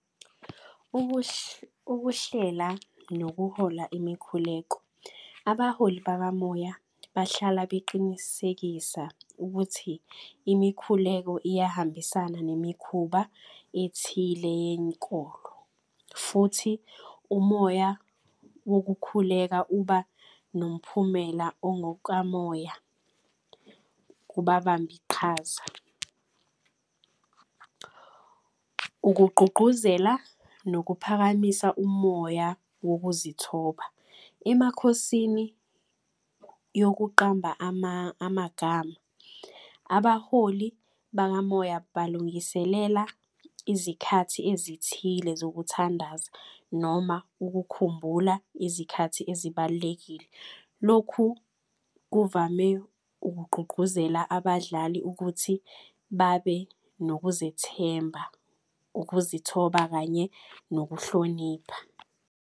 Ukuhlela nokuhola imikhuleko, abaholi bakamoya bahlala beqinisekisa ukuthi imikhuleko iyahambisana nemikhuba ethile yenkolo, futhi umoya wokukhuleka uba nomphumela ongokukamoya, kubabambiqhaza. Ukugqugquzela nokuphakamisa umoya wokuzithoba. Emakhosini yokuqamba amagama, abaholi bakamoya balungiselela izikhathi khona ezithile zokuthandaza, noma ukukhumbula izikhathi ezibalulekile. Lokhu kuvame ukugqugquzela abadlali ukuthi babe nokuzethemba, ukuzithoba, kanye nokuhlonipha.